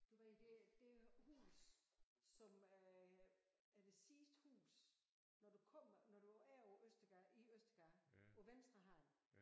Du ved det det hus som øh er det sidste hus når du kommer når du er på Østergade i Østergade på venstre hånd